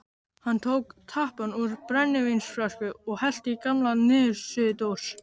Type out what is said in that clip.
Hann tók tappann úr brennivínsflösku og hellti í gamla niðursuðudós.